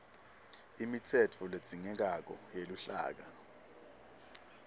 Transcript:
imitsetfo ledzingekako yeluhlaka